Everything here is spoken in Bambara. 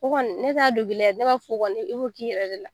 O kɔni ne t'a dogo i la, ne b'a fɔ kɔni i b'o k'i yɛrɛ de la.